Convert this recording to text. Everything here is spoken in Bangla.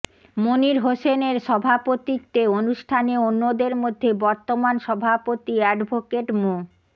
মনির হোসেনের সভাপতিত্বে অনুষ্ঠানে অন্যদের মধ্যে বর্তমান সভাপতি অ্যাডভোকেট মো